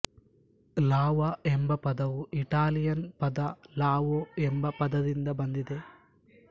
ಲಾವ ಎಂಬ ಪದವು ಇಟಾಲಿಯನ್ ಪದ ಲಾವೊ ಎಂಬ ಪದದಿಂದ ಬಂದಿದೆ